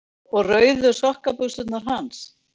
Og rauðu sokkabuxurnar hans?